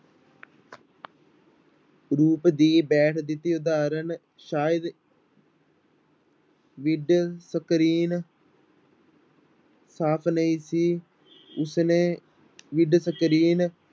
ਰੂਪ ਦੀ ਹੇਠ ਦਿੱਤੀ ਉਦਾਹਰਨ ਸ਼ਾਇਦ with screen ਸਾਫ਼ ਨਹੀਂ ਸੀ ਉਸਨੇ with screen